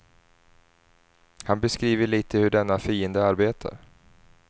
Han beskriver lite hur denna fiende arbetar.